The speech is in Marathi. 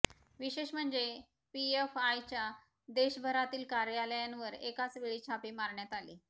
विशेष म्हणजे पीएफआयच्या देशभरातील कार्यालयांवर एकाच वेळी छापे मारण्यात आले